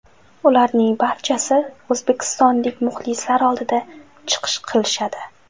Ularning barchasi o‘zbekistonlik muxlislar oldida chiqish qilishadi.